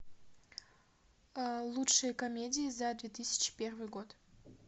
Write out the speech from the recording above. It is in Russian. лучшие комедии за две тысячи первый год